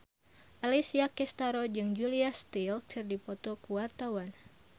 Alessia Cestaro jeung Julia Stiles keur dipoto ku wartawan